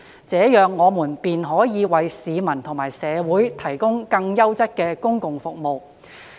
這樣，我們便可以為市民和社會提供更優質的公共服務。